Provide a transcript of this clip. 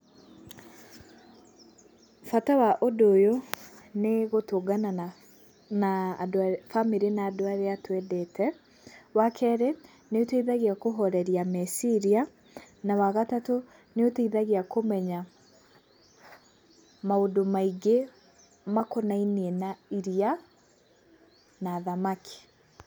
Bata wa ũndũ ũyũ nĩ gũtũngana na na andũ a bamĩrĩ na andũ arĩa twendete, wa keerĩ, nĩ ũteithagia kũhoreria meciria, na wa gatatũ nĩ ũteithagia kũmenya maũndũ maingĩ makonainie na iria, na thamaki.